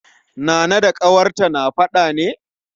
Nana da ƙawarta na faɗa ne?